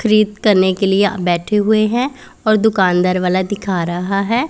करने के लिए बैठे हुए हैं और दुकानदार वाला दिखा रहा है।